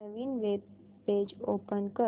नवीन web page open कर